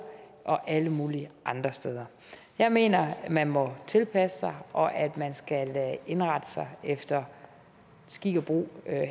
og alle mulige andre steder jeg mener man må tilpasse sig og at man skal indrette sig efter skik og brug